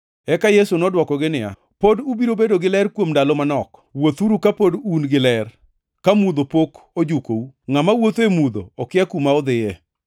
Eka Yesu nodwokogi niya, “Pod ubiro bedo gi ler kuom ndalo manok. Wuothuru kapod un gi ler; ka mudho pok ojukou. Ngʼama wuotho e mudho okia kuma odhiye.